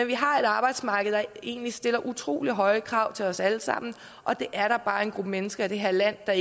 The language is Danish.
vi har et arbejdsmarked der egentlig stiller utrolig høje krav til os alle sammen og det er der bare en gruppe mennesker i det her land der